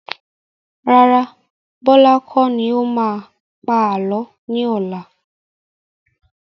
Rárá, Bọlá kọ́ ni ó máa pa àálọ́ ni ọ̀la.